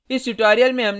संक्षेप में